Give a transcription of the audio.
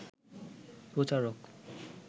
প্রচারক